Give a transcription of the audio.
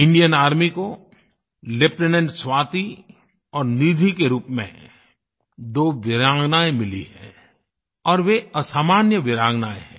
Indian army को lieutenant Swati और निधि के रूप में दो वीरांगनाएँ मिली हैं और वे असामान्य वीरांगनाएँ है